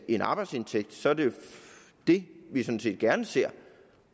en arbejdsindtægt så er det jo det vi sådan set gerne ser